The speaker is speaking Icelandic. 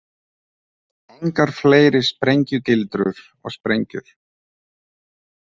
Engar fleiri sprengjugildrur og sprengjur.